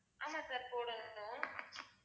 ஆமா sir போடணும்தான்